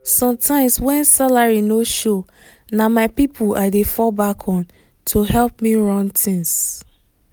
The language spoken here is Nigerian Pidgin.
sometimes when salary no show na my people i dey fall back on to help me run things.